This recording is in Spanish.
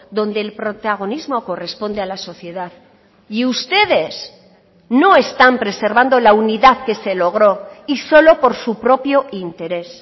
donde el protagonismo corresponde a la sociedad y ustedes no están preservando la unidad que se logró y solo por su propio interés